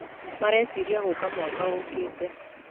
Mareciria gũka mwaka ũkĩte.